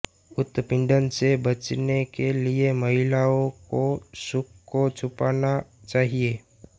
उत्पीड़न से बचने के लिए महिलाओं को खुद को छुपाना चाहिए